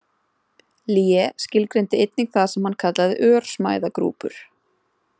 Lie skilgreindi einnig það sem hann kallaði örsmæðagrúpur.